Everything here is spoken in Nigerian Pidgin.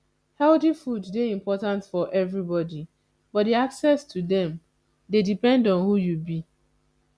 healthy food dey important for everybody but di access to dem dey depend on who you be